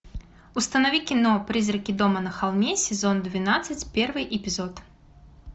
установи кино призраки дома на холме сезон двенадцать первый эпизод